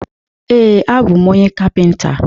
Ee, abụ m onye kapịnta.